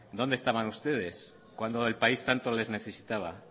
donde estaban ustedes cuando el país tanto les necesitaba